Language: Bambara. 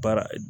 Baara